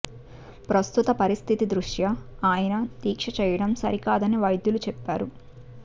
ప్రస్తుత పరిస్థితి దృష్ట్యా ఆయన దీక్ష చేయడం సరికాదని వైద్యులు చెప్పారు